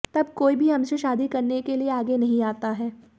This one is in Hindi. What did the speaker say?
तब कोई भी हमसे शादी करने के लिए आगे नहीं आता है